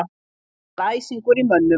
Það var æsingur í mönnum